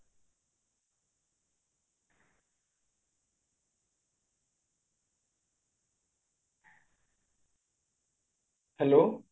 hello